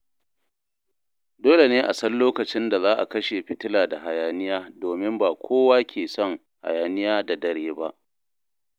Dole ne a san lokacin da za a kashe fitila da hayaniya domin ba kowa ke son hayaniya da dare ba.